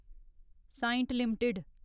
Cyient limited